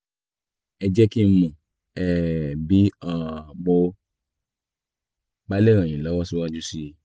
ẹ jẹ́ kí n mọ̀ um bí um mo bá lè ràn yín lọ́wọ́ síwájú sí i